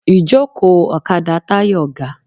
Ìjókòó ọ̀kadà Táyọ̀ ga.